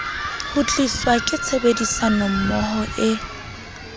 ho tliswa ke tshebedisanommoho e